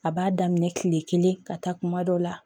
A b'a daminɛ kile kelen ka taa kuma dɔw la